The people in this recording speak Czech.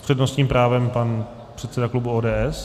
S přednostním právem pan předseda klubu ODS.